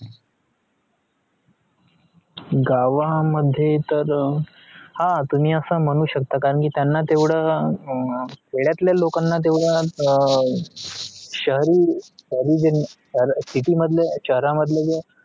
गावा मध्ये तर हा तुमी हा असा मनु शकता कारण त्यायन त्यवढा खेडातल लोक त्यवढा शहरी